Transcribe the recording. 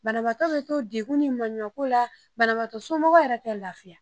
Banabatɔ bɛ to degun ni maaɲumantɔko la banabagatɔ somɔgɔw yɛrɛ tɛ lafiya